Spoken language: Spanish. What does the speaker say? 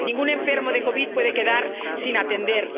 Ningún enfermo de COVID puede quedar sin atender.